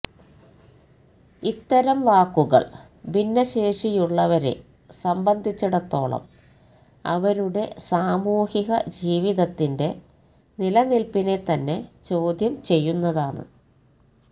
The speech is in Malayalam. ഇത്തരം വാക്കുകൾ ഭിന്നശേഷിയുള്ളവരെ സംബന്ധിച്ചിടത്തോളം അവരുടെ സാമൂഹിക ജീവിതത്തിന്റെ നിലനില്പ്പിനെ തന്നെ ചോദ്യം ചെയ്യുന്നതാണ്